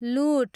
लुट